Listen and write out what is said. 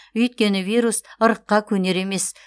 өйткені вирус ырыққа көнер емес